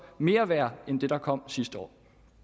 mere værd end det der kom sidste år